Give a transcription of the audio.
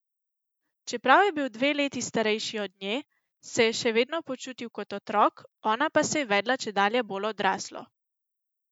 Čeprav je bil dve leti starejši od nje, se je še vedno počutil kot otrok, ona pa se je vedla čedalje bolj odraslo.